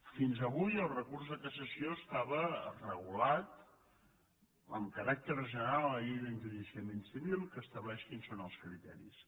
fins avui el recurs de cassació estava regulat amb caràcter general a la llei d’enjudiciament civil que estableix quins són els criteris